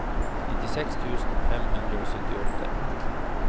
nittiseks tusen fem hundre og syttiåtte